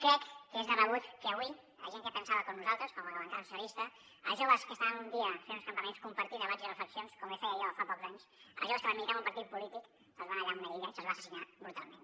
crec que és de rebut que avui la gent que pensava com nosaltres com la bancada socialista els joves que estaven un dia fent uns campaments compartint debats i reflexions com feia jo fa pocs anys els joves que van militar en un partit polític se’ls va aïllar en una illa i se’ls va assassinar brutalment